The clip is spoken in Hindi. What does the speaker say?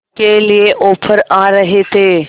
के लिए ऑफर आ रहे थे